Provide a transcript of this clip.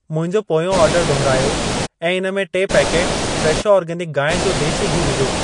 मुंहिंजो पोयों ऑर्डर दुहिरायो ऐं इन में टे पैकेट फ़्रेशो आर्गेनिक गांइ जो देशी घी विझो।